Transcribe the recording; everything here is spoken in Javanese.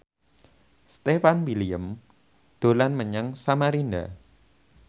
Stefan William dolan menyang Samarinda